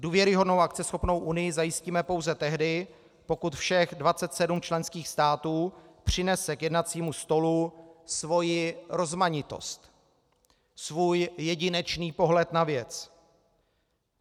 Důvěryhodnou a akceschopnou Unii zajistíme pouze tehdy, pokud všech 27 členských států přinese k jednacímu stolu svoji rozmanitost, svůj jedinečný pohled na věc.